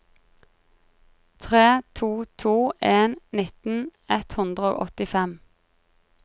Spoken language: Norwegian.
tre to to en nitten ett hundre og åttifem